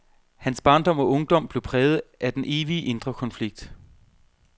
Hans barndom og ungdom blev præget af den evige indre konflikt.